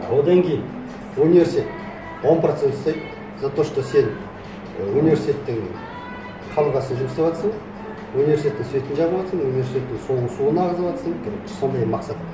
одан кейін университет он процент ұстайды за то что сен университеттің қабырғасында жұмыс істеватырсың университеттің светін жағыватырсың университеттің суын ағызыватырсың короче сондай мақсат